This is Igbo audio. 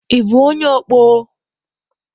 Ị bụ onye ọkpọ?